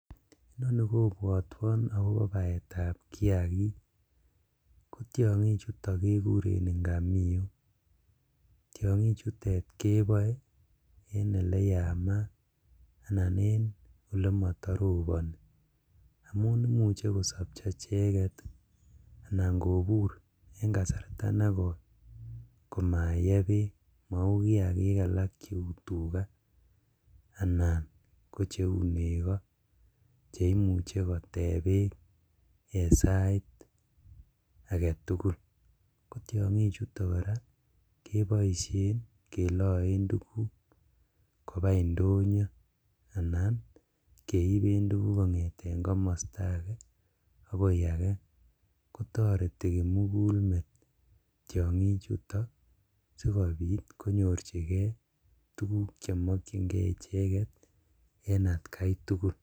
Inoni kobwotwon akobo baetab kiagik kotiongichuton kekuren ingamiok, tiongichutet keboe en eleyamaat anan koyemotoroboni amun imuche kosopcho icheket anan kobur en kasarta negoi komaye beek mou kiagik alak cheu tugaa anan ko cheu nego cheimuche koteb beek en sait agetugul, tiongichuto koraa keloen tuguk kobaa indonyo anan keiben tuguku kongeten komosto ake agoi ake kotoreti kimugulmet tiongichuto sikobit konyorjigee tuguk chemokyingee icheget en atkaitugul.